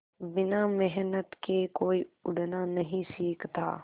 बिना मेहनत के कोई उड़ना नहीं सीखता